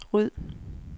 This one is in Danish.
ryd